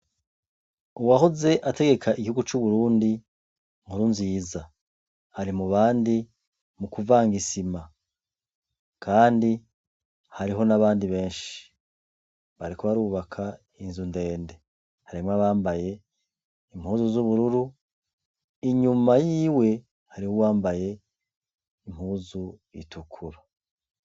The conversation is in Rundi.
Uwahoze ategeka igihugu c'u Burundi Nkurunziza, ari mu bandi mu kuvanga isima, kandi hariho n'abandi benshi, bariko barubaka inzu ndende, harimwo abambaye impuzu z'ubururu, inyuma yiwe hari uwambaye impuzu itukura.